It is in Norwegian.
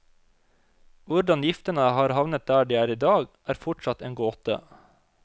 Hvordan giftene har havnet der de er i dag, er fortsatt en gåte.